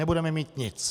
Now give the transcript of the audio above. Nebudeme mít nic.